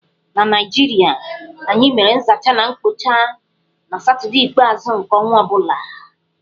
Na Naịjirịa, anyị mere nzacha na mkpocha na satọdee ikpeazụ nke ọnwa ọ bula.